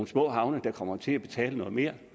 små havne der kommer til at betale noget mere